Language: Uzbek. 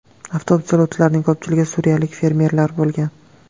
Avtobus yo‘lovchilarining ko‘pchiligi suriyalik fermerlar bo‘lgan.